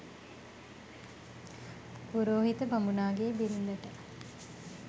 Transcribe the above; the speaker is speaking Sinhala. පුරෝහිත බමුණාගේ බිරිඳට